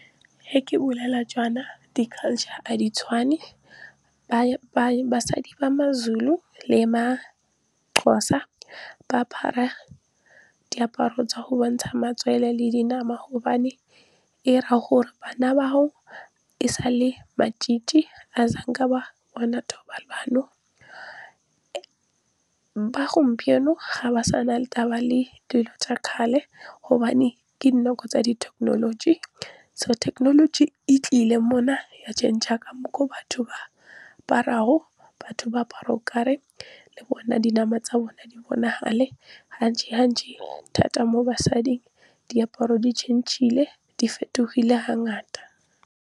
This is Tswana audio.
Ge ke bolela jaana di-culture a di tshwane basadi ba maZulu le maXhosa ba apara diaparo tsa go bontsha matswele le dinama gobane e ra gore bana ba o e sale , ga a sa nka ba bona thobalano. Ba gompieno ga ba sa na le taba le dilo tsa kgale gobane ke dinako tsa di-technology. So technology e tlile mo na ya change-a ka mokgwa o batho ba aparago. Batho ba apara o kare le bona dinama tsa bona di bonagale thata mo basading diaparo di fetogile ga ngata.